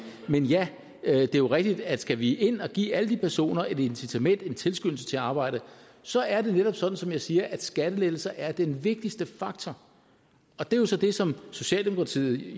men ja det er jo rigtigt at skal vi ind og give alle de personer et incitament en tilskyndelse til at arbejde så er det netop sådan som jeg siger at skattelettelser er den vigtigste faktor og det er jo så det som socialdemokratiet